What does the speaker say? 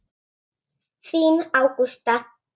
Þín Ágústa.